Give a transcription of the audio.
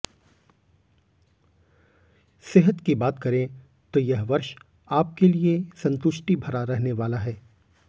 सेहत की बात करें तो यह वर्ष आपके लिए संतुष्टि भरा रहने वाला हैं